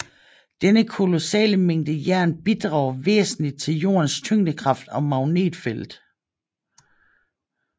Denne kolossale mængde jern bidrager væsentligt til Jordens tyngdekraft og magnetfelt